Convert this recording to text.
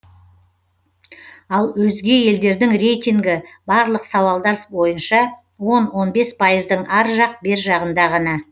ал өзге елдердің рейтингі барлық сауалдар бойынша он он бес пайыздың ар жақ бер жағында ғана